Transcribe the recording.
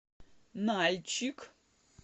нальчик